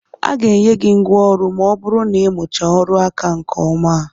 A ga-enye gị ngwa ọrụ ma ọ bụrụ na ị mụchaa ọrụ aka a nke ọma.